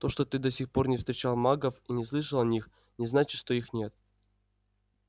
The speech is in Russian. то что ты до сих пор не встречал магов и не слышал о них не значит что их нет